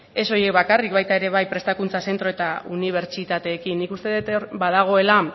ez horiek bakarrik baita ere prestakuntza zentro eta unibertsitateekin nik uste dut hor badagoela